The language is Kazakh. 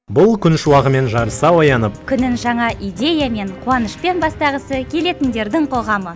бұл күн шуағымен жарыса оянып күнін жаңа идеямен қуанышпен бастағысы келетіндердің қоғамы